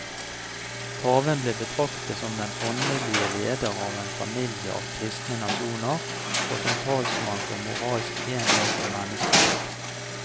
Paven ble betraktet som den åndelige leder av en familie av kristne nasjoner, og som talsmann for moralsk enhet og menneskelighet.